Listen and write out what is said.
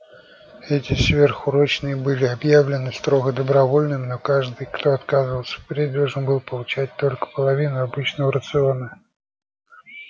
эти сверхурочные были объявлены строго добровольными но каждый кто отказывался впредь должен был получать только половину обычного рациона